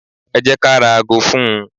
Ẹ jẹ́ ka ra ago fún-un.